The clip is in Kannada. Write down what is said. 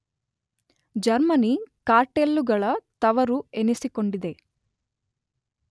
ಜರ್ಮನಿ ಕಾರ್ಟೆಲ್ಲುಗಳ ತವರು ಎನಿಸಿಕೊಂಡಿದೆ.